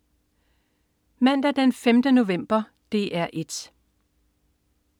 Mandag den 5. november - DR 1: